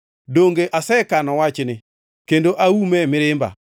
Donge asekano wachni kendo aume e mirimba?